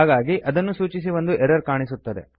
ಹಾಗಾಗಿ ಅದನ್ನು ಸೂಚಿಸಿ ಒಂದು ಎರರ್ ಕಾಣಿಸುತ್ತದೆ